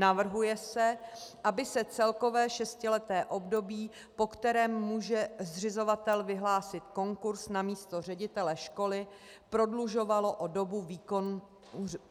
Navrhuje se, aby se celkové šestileté období, po kterém může zřizovatel vyhlásit konkurs na místo ředitele školy, prodlužovalo o dobu